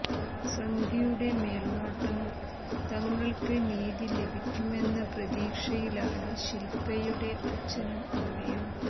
സന്ധ്യുടെ മേൽനോട്ടം തങ്ങൾക്ക് നീതി ലഭ്യമാക്കുമെന്ന പ്രതീക്ഷയിലാണ് ശിൽപ്പയുടെ അച്ഛനും അമ്മയും